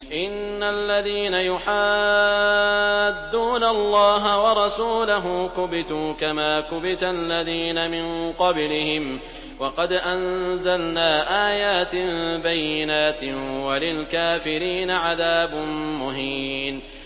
إِنَّ الَّذِينَ يُحَادُّونَ اللَّهَ وَرَسُولَهُ كُبِتُوا كَمَا كُبِتَ الَّذِينَ مِن قَبْلِهِمْ ۚ وَقَدْ أَنزَلْنَا آيَاتٍ بَيِّنَاتٍ ۚ وَلِلْكَافِرِينَ عَذَابٌ مُّهِينٌ